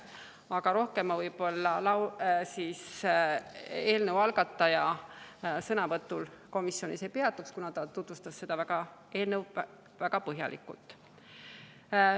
Aga rohkem ma võib-olla eelnõu algataja sõnavõtul komisjonis ei peatuks, kuna ta tutvustas seda eelnõu väga põhjalikult.